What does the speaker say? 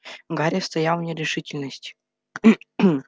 гарри стоял в нерешительности